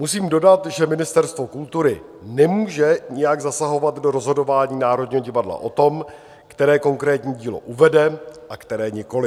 Musím dodat, že Ministerstvo kultury nemůže nijak zasahovat do rozhodování Národního divadla o tom, které konkrétní dílo uvede a které nikoli.